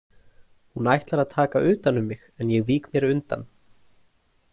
Hún ætlar að taka utan um mig en ég vík mér undan.